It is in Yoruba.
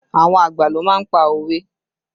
Àwọn àgbà ló má ń pa òwe